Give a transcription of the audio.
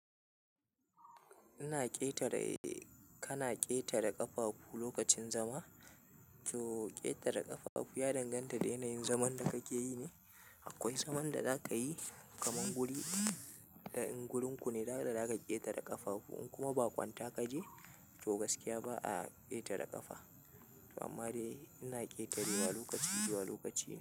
Ina ƙetare, kana ƙetare ƙafafu lokacin zama. To ƙetare ƙafafu ya danganta da yanayin zaman da kake yi ne. Akwai zaman da za ka yi kaman guri, da in gurin ku ne, nada za ka ƙetare ƙafafu. In kuma ba kwanta kaje, to gaskiya ba a ƙetare ƙafa. Amma dai ina ƙetarewa lokaci, lokaci.